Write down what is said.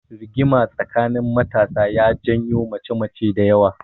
Rigima tsakanin matasa ya janyo mace mace dayawa